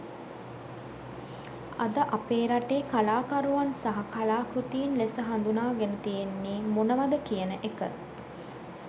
අද අපේ රටේ කලාකරුවන් සහ කලා කෘතීන් ලෙස හඳුනාගෙන තියෙන්නෙ මොනවද කියන එක.